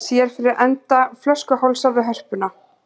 Sér fyrir enda flöskuhálsa við Hörpuna